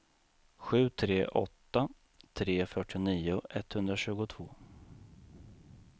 sju tre åtta tre fyrtionio etthundratjugotvå